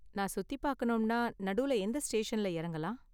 நான் சுத்தி பாக்கணும்னா நடுல எந்த ஸ்டேஷன்ல இறங்கலாம்?